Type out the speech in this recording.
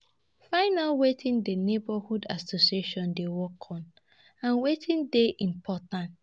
Find out wetin di neighbourhood association dey work on and wetin dey important